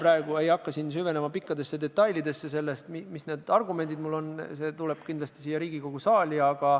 Ma vast ei hakka siin praegu süvenema pikkadesse detailidesse ega sellesse, mis argumendid mul on.